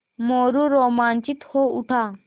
मोरू रोमांचित हो उठा